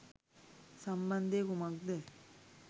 සම්බන්ධය කුමක්ද?